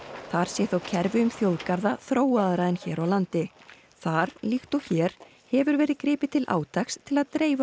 þar sé þó kerfi um þjóðgarða þróaðra en hér á landi þar líkt og hér hefur verið gripið til átaks til að dreifa